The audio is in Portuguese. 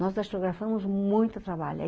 Nós datilografamos muito trabalho.